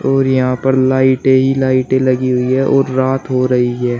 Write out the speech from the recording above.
और यहां पर लाइटे ही लाइटे लगी हुई हैं और रात हो रही है।